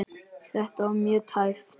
Þetta var mjög tæpt.